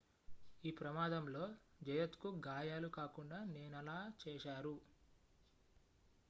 ఈ ప్రమాదంలో జయత్ కు గాయాలు కాకుండా నేనలా చేశారు